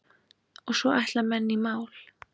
Og svo ætla menn í mál.